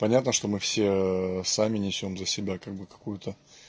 понятно что мы все сами несём за себя как бы какую-то